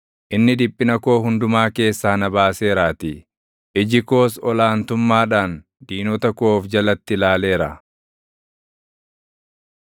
Inni dhiphina koo hundumaa keessaa na baaseeraatii; iji koos ol aantummaadhaan diinota koo of jalatti ilaaleera.